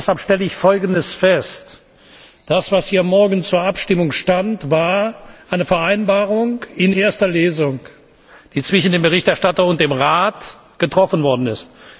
Deshalb stelle ich Folgendes fest Das, was hier morgen zur Abstimmung gestanden hätte, war eine Vereinbarung in erster Lesung, die zwischen dem Berichterstatter und dem Rat getroffen worden ist.